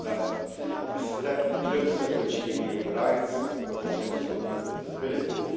It brings us a step closer to achieving equal rights and opportunities for people with disabilities.